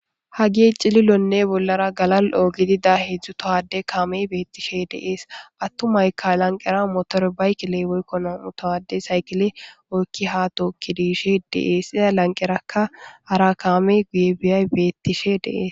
hagey cililonne bollara galal'o gidida hedzdzu towade kaamey beettishe de'ees attumayka lanqera motorbaykile woykko nam'u towade saykile oykki ha tooggi yiishe de'ees iza lanqerakka hara kaamey guye biyay beettishe de'ees